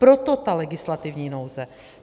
Proto ta legislativní nouze.